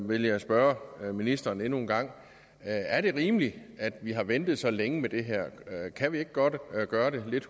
vil jeg spørge ministeren endnu en gang er det rimeligt at vi har ventet så længe med det her kan vi ikke godt gøre det lidt